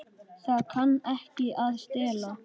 Það kann ekki að stela.